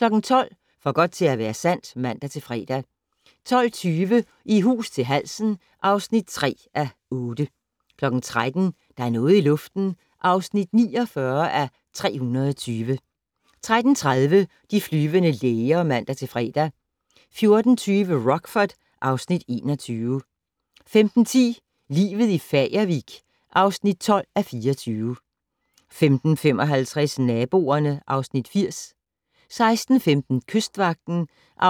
12:00: For godt til at være sandt (man-fre) 12:20: I hus til halsen (3:8) 13:00: Der er noget i luften (49:320) 13:30: De flyvende læger (man-fre) 14:20: Rockford (Afs. 21) 15:10: Livet i Fagervik (12:24) 15:55: Naboerne (Afs. 80) 16:15: Kystvagten (64:68)